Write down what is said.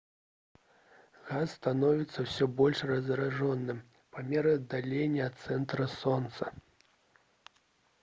газ становіцца ўсё больш разрэджаным па меры аддалення ад цэнтра сонца